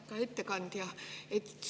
Aitäh, ettekandja!